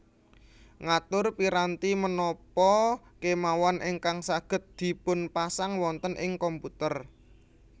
Ngatur piranti menapa kemawon ingkang saged dipunpasang wonten ing komputer